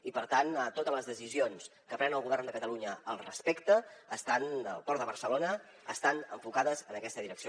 i per tant totes les decisions que pren el govern de catalunya respecte al port de barcelona estan enfocades en aquesta direcció